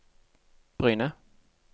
Bryne